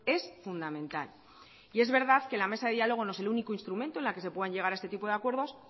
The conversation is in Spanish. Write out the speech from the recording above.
es fundamental y es verdad que la mesa de diálogo no es único instrumento en la que se puedan llegar a este tipo de acuerdos